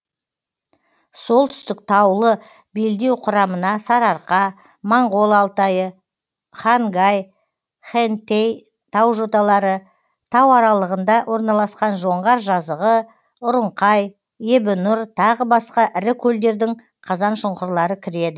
солтүстік таулы белдеу құрамына сарыарқа моңғол алтайы хангай хэнтэй тау жоталары тау аралығында орналасқан жоңғар жазығы ұрыңқай ебінұр тағы басқа ірі көлдердің қазан шұңқырлары кіреді